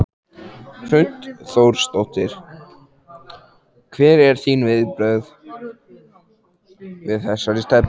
Hrund Þórsdóttir: Hver eru þín viðbrögð við þessari stefnu?